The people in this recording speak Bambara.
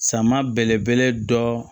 Sama belebele dɔ